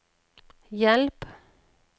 hjelp